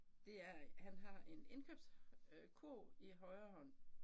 Det er han har en indkøbskurv i højre hånd